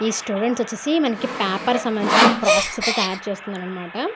ఈ స్టూడెంట్స్ వచ్చేసి మనకి పేపర్ కి సంభందించిన క్రాఫ్ట్స్ అయితే తయారు చేస్తున్నారు అనమాట.